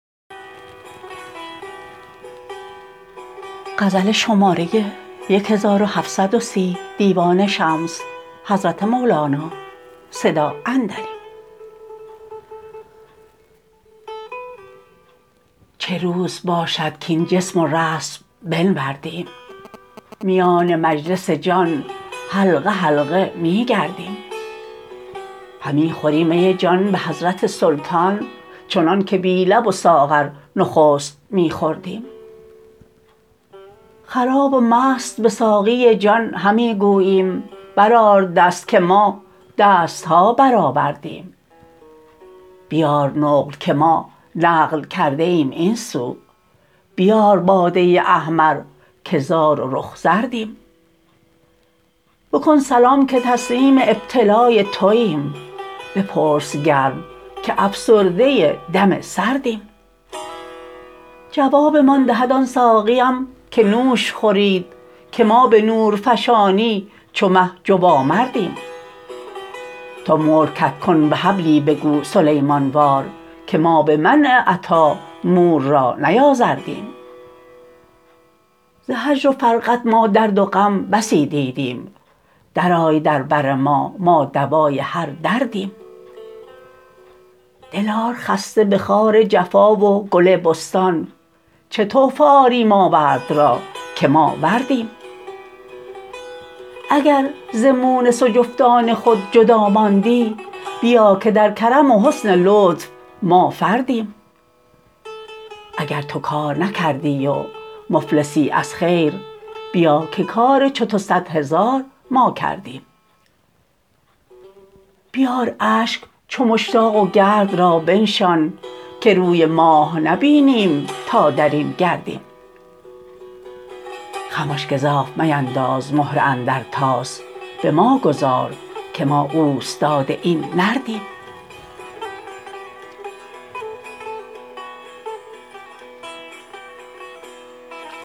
چه روز باشد کاین جسم و رسم بنوردیم میان مجلس جان حلقه حلقه می گردیم همی خوریم می جان به حضرت سلطان چنانک بی لب و ساغر نخست می خوردیم خراب و مست به ساقی جان همی گوییم برآر دست که ما دست ها برآوردیم بیار نقل که ما نقل کرده ایم این سو بیار باده احمر که زار و رخ زردیم بکن سلام که تسلیم ابتلای توییم بپرس گرم که افسرده دم سردیم جوابمان دهد آن ساقیم که نوش خورید که ما به نورفشانی چو مه جوامردیم تو ملک کدکن وهب لی بگو سلیمان وار که ما به منع عطا مور را نیازردیم ز هجر و فرقت ما درد و غم بسی دیدیم درآی در بر ما ما دوای هر دردیم دل آر خسته به خار جفا و گل بستان چه تحفه آری ماورد را که ما وردیم اگر ز مونس و جفتان خود جدا ماندی بیا که در کرم و حسن لطف ما فردیم اگر تو کار نکردی و مفلسی از خیر بیا که کار چو تو صد هزار ما کردیم بیار اشک چو مشتاق و گرد را بنشان که روی ماه نبینیم تا در این گردیم خمش گزاف مینداز مهره اندر طاس به ما گذار که ما اوستاد این نردیم